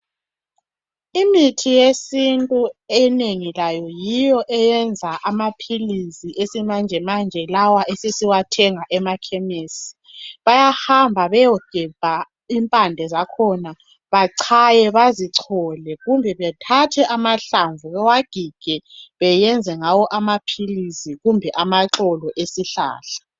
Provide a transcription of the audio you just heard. Imithi yesintu enengi layo yiyo eyenza amaphilisi esimanjemanje lawa esesiwathenga emakhemesi. Bayahamba bayegebha impande zakhona , bachaye bazichole, kumbe bethathe amahlamvu bawagige bayenze ngawo amaphilisi kumbe amaxolo esihlahla.